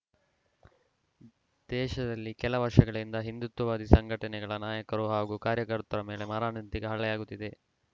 ದೇಶದಲ್ಲಿ ಕೆಲ ವರ್ಷಗಳಿಂದ ಹಿಂದುತ್ವವಾದಿ ಸಂಘಟನೆಗಳ ನಾಯಕರ ಹಾಗೂ ಕಾರ್ಯಕರ್ತರ ಮೇಲೆ ಮಾರಣಾಂತಿಕ ಹಲ್ಲೆಯಾಗುತ್ತಿದೆ